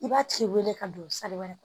I b'a tigi wele ka don wɛrɛ kɔnɔ